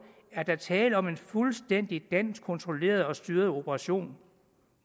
er tale om en fuldstændig dansk kontrolleret og styret operation